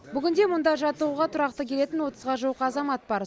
бүгінде мұнда жаттығуға тұрақты келетін отызға жуық азамат бар